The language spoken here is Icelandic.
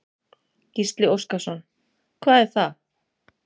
Gísli Óskarsson: Hvað er það?